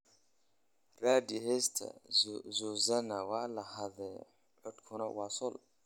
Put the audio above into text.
raadi heesta suzanna waa la xaday codkuna waa sol